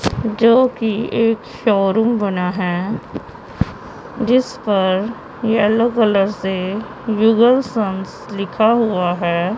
जोकि एक शोरूम बना है जिस पर येलो कलर से जुगल संस लिखा हुआ है।